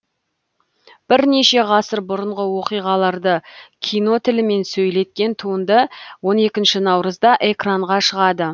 бірнеше ғасыр бұрынғы оқиғаларды кино тілімен сөйлеткен туынды он екінші наурызда экранға шығады